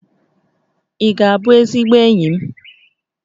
Ị ga-abụ ezigbo enyi m?